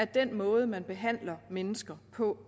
den måde man behandler mennesker på